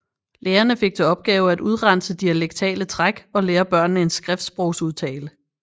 Lærerne fik til opgave at udrense dialektale træk og lære børnene en skriftsprogsudtale